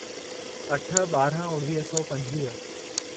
अठ ॿारहं उणिवीह सौ पंजवीह